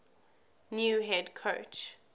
new head coach